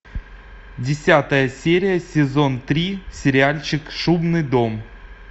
десятая серия сезон три сериальчик шумный дом